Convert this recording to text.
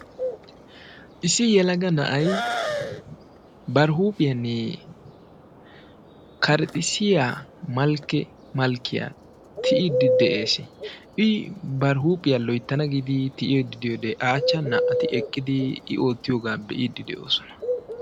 Issi yelagga na'ay bari huuphphiyaani karaxissiya malk-malkkiya tiyiddi de'es. I bar huuphphiyaa loyttana giidi tiyiddi diyoode a achchan na'atti eqqidi i oottiyoga be'iddi de'ossona.